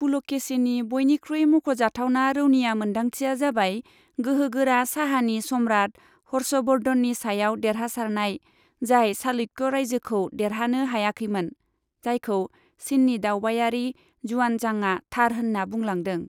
पुलकेशीनि बयनिख्रुइ मख'जाथावना रौनिया मोन्दांथिया जाबाय गोहो गोरा साहानि सम्राट हर्ष वर्धननि सायाव देरहासारनाय, जाय चालुक्य रायजोखौ देरहानो हायाखैमोन, जायखौ चिननि दावबायारि जुआनजांआ थार होनना बुंलांदों।